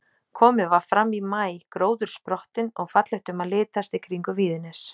Komið var fram í maí, gróður sprottinn og fallegt um að litast í kringum Víðines.